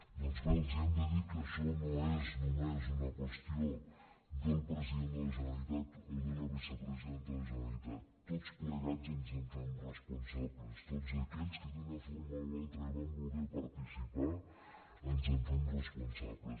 doncs bé els hem de dir que això no és només una qüestió del president de la generalitat o de la vicepre·sidenta de la generalitat tots plegats ens en fem res·ponsables tots aquells que d’una forma o una altra hi vam voler participar ens en fem responsables